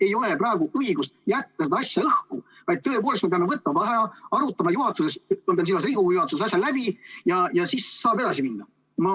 Ei ole õige jätta seda asja praegu õhku, vaid tõepoolest, me peame võtma vaheaja, arutama selle asja Riigikogu juhatuses läbi ja siis saame edasi minna.